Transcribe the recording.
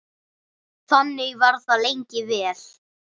Þannig var það lengi vel.